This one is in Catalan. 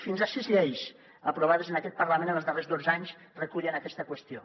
fins a sis lleis aprovades en aquest parlament en els darrers dotze anys recullen aquesta qüestió